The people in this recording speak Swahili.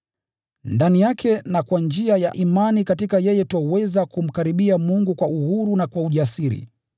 Ndani yake na kwa njia ya imani katika yeye twaweza kumkaribia Mungu kwa uhuru na kwa ujasiri.